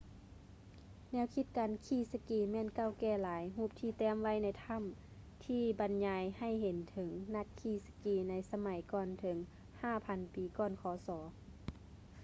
ແນວຄິດການຂີ່ສະກີແມ່ນເກົ່າແກ່ຫຼາຍ ຮູບທີ່ແຕ້ມໄວ້ໃນຖ້ຳ ທີ່ບັນຍາຍໃຫ້ເຫັນເຖິງນັກຂີ່ສະກີໃນສະໄໝກ່ອນເຖິງ 5000 ປີ ກ່ອນ ຄສ